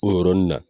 O yɔrɔnin na